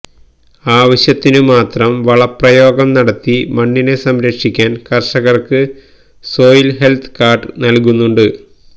ആവശ്യത്തിനു മാത്രം വളപ്രയോഗം നടത്തി മണ്ണിനെ സംരക്ഷിക്കാന് കര്ഷകര്ക്ക് സോയില് ഹെല്ത്ത് കാര്ഡ് നല്കുന്നുണ്ട്